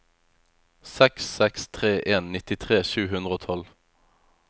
seks seks tre en nittitre sju hundre og tolv